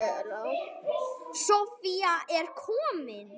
Soffía er komin.